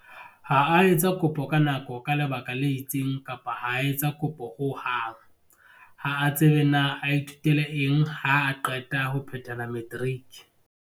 Ha a etsa kopo ka nako ka lebaka le itseng kapa ha a etsa kopo ho hang. Ha a tsebe na a ithutele eng haa qeta ho phethela matriki.